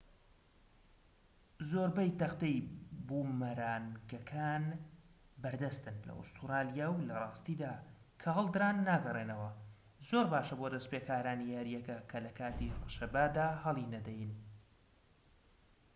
زۆربەی تەختەی بومەرانگەکان بەردەستن لە ئوستورالیا و لە راستیدا کە هەڵدران ناگەڕێنەوە زۆر باشە بۆ دەستپێکارانی یاریەکە کە لە کاتی ڕەشەبادا هەڵی نەدەن